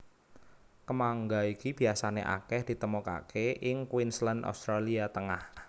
Kemangga iki biasané akèh ditemokaké ing Queensland Australia Tengah